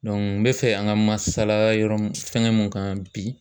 Dɔnku n be fɛ an ka masala yɔrɔ mun fɛngɛ mun kan bi